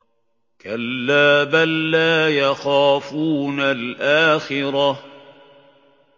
كَلَّا ۖ بَل لَّا يَخَافُونَ الْآخِرَةَ